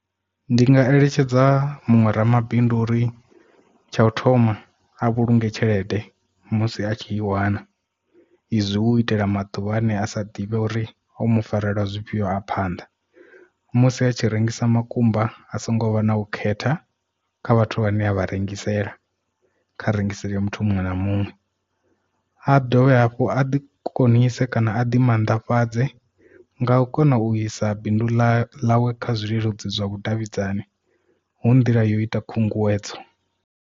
Ndi nga eletshedza muṅwe ramabindu uri tsha u thoma a vhulunge tshelede musi a tshi i wana izwi hu itela maḓuvha ane a sa ḓivhe uri hu mu farela zwifhio a phanḓa musi a tshi rengisa makumba a songo vha na u khetha kha vhathu vhane a vha rengisela kha rengisela muthu muṅwe na muṅwe a dovhe hafhu a ḓi konise kana a di mannḓafhadza nga u kona u isa bindu ḽawe kha zwileludzi zwa vhudavhidzani hu nḓila yo ita khunguwedzo.